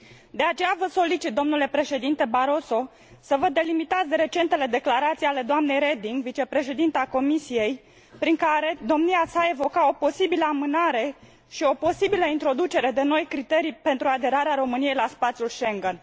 De aceea vă solicit, domnule președinte Barroso, să vă delimitați de recentele declarații ale doamnei Reding, vicepreședinta Comisiei, prin care domnia sa evoca o posibilă amânare și o posibilă introducere de noi criterii pentru aderarea României la spațiul Schengen.